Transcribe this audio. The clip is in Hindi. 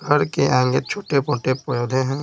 घर के आगे छोटे मोटे पौधे हैं ।